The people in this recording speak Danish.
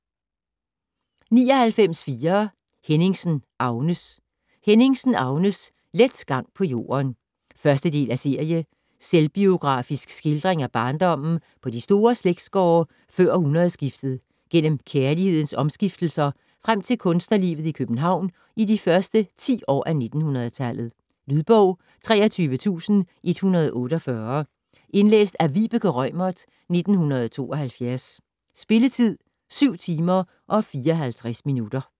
99.4 Henningsen, Agnes Henningsen, Agnes: Let gang på jorden 1. del af serie. Selvbiografisk skildring af barndommen på de store slægtsgårde før århundredskiftet, gennem kærlighedens omskiftelser, frem til kunstnerlivet i København i de første ti år af 1900-tallet. Lydbog 23148 Indlæst af Vibeke Reumert, 1972. Spilletid: 7 timer, 54 minutter.